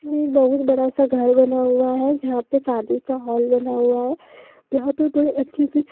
ये एक बहुत बड़ा सा घर बना हुआ है जहाँ पे शादी का हॉल बना हुआ है जहाँ पे बड़े अच्छे से--